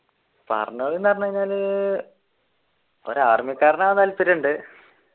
പറഞ്ഞോളി എന്ന് പറഞ്ഞു കഴിഞ്ഞാൽ ഒരു ആർമിക്കാരനാവാൻ താല്പര്യം ഉണ്ട്.